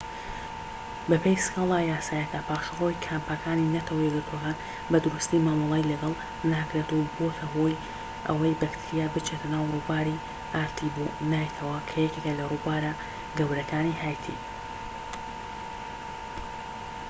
بەپێی سكالا یاساییەکە پاشەڕۆی کامپەکانی نەتەوەیەکگرتوەکان بە دروستیی مامەڵەی لەگەڵ ناکرێت و بۆتە هۆی ئەوەی بەکتریا بچێتە ناو ڕووباری ئارتیبۆنایتەوە کە یەکێکە لە رووبارە گەورەکانی هایتی